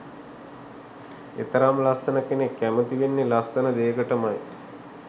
එතරම් ලස්සන කෙනෙක් කැමති වෙන්නෙ ලස්සන දේකටමයි